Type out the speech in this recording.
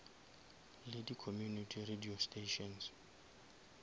le di community radio stations